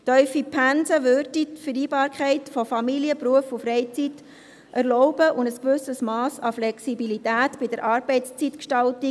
Tiefe Pensen erlaubten die Vereinbarkeit von Familie, Beruf und Freizeit und ermöglichten ein gewisses Mass an Flexibilität bei der Arbeitszeitgestaltung.